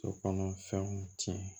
So kɔnɔ fɛnw tiɲɛ